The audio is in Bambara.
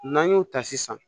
N'an y'o ta sisan